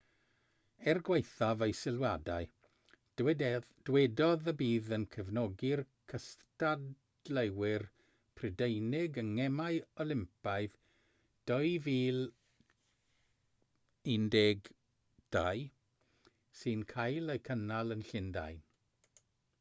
er gwaethaf ei sylwadau dywedodd y bydd yn cefnogi'r cystadleuwyr prydeinig yng ngemau olympaidd 2012 sy'n cael eu cynnal yn llundain